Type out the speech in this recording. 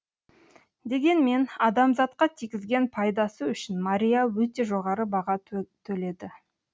дегенмен адамзатқа тигізген пайдасы үшін мария өте жоғары баға төледі